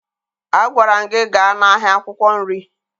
Agwara m gị gaa n'ahịa akwụkwọ nri!